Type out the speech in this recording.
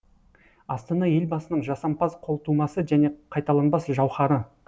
астана елбасының жасампаз қолтумасы және қайталанбас жауһары